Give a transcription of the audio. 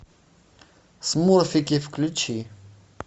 смурфики включи